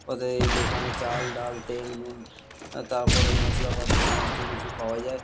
অতএব এই দোকানে চাল ডাল তেল নুন আ তারপরে মশলাপাতি সমস্ত কিছু পাওয়া যায়।